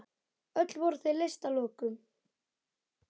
Öll voru þau leyst að lokum.